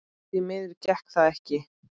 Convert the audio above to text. Því miður gekk það ekki.